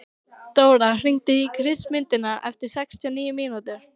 Dóra, hringdu í Kristmundínu eftir sextíu og níu mínútur.